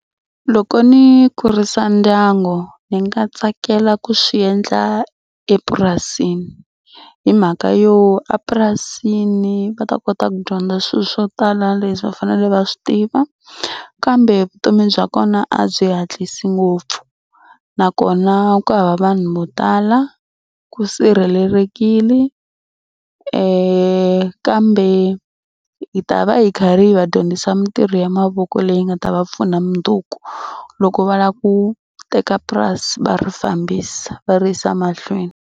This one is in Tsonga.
Loko ni kurisa ndyangu ni nga tsakela ku swi endla epurasini hi mhaka yo a purasini va ta kota ku dyondza swilo swo tala leswi va fanele va swi tiva kambe vutomi bya kona a byi hatlisa ngopfu nakona ku hava vanhu vo tala ku sirhelelekile kambe hi ta va hi karhi hi va dyondzisa mitirho ya mavoko leyi nga ta va pfuna mundzuku loko va lava ku teka purasi va ri fambisa va ri yisa mahlweni.